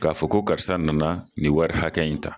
K'a fɔ ko karisa nana nin wari hakɛya in ta.